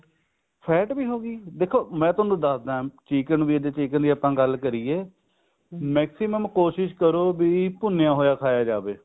fat ਵੀ ਹੋਵੇਗੀ ਦੇਖੋ ਮੈਂ ਤੁਹਾਨੂੰ ਦੱਸਦਾਂ chicken ਵੀ chicken ਜੇ ਆਪਾਂ ਗੱਲ ਕਰੀਏ ਮਾਕ੍ਸਿਮੁਨ ਕੋਸ਼ਿਸ਼ ਕਰੋ ਵੀ ਭੁੰਨਿਆ ਹੋਇਆ ਖਾਇਆ ਜਾਵੇ